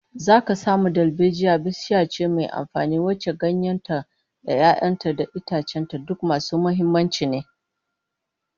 Zaka samu dalbejiya bishiya ce mai amfani, wacce ganyen ta da 'ya'yan ta da itacen ta duk masu muhimmanci ne